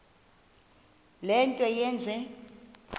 le nto yenze